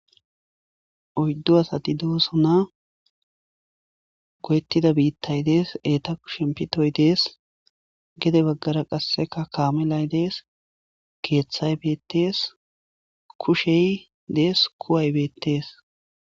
oyddu asati doosona goyettida biittay dees etaku shempitoy dees gede baggara qasseka kaame lay dees keeththay beettees kushey dees kuway beettees